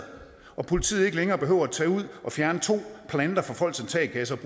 og politiet ikke længere behøver at tage ud og fjerne to planter fra folks altankasser og